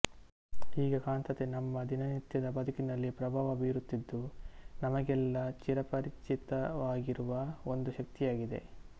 ಹೀಗೆ ಕಾಂತತೆ ನಮ್ಮ ದಿನನಿತ್ಯದ ಬದುಕಿನಲ್ಲಿ ಪ್ರಭಾವ ಬೀರುತ್ತಿದ್ದು ನಮಗೆಲ್ಲ ಚಿರಪರಿಚಿತವಾಗಿರುವ ಒಂದು ಶಕ್ತಿಯಾಗಿದೆ